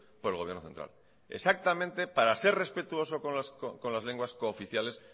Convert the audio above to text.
por el gobierno central exactamente para ser respetuoso con las lenguas cooficiales